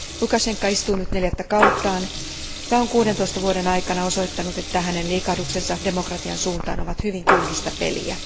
Lukašenka istuu nyt neljättä kauttaan ja on 16 vuoden aikana osoittanut, että hänen liikahduksensa demokratian suuntaan ovat hyvin kyynistä peliä.